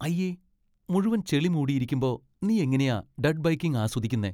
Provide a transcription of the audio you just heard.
അയ്യേ. മുഴുവൻ ചെളി മൂടിയിരിക്കുമ്പോ നീ എങ്ങനെയാ ഡട്ട് ബൈക്കിംഗ് ആസ്വദിക്കുന്നെ?